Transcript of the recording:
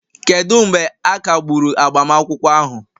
kedu mgbe a kagburu agbamakwụkwọ ahụ?